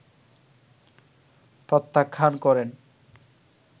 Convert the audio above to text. প্রত্যাখান করেন